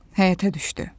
Həyətə düşdü.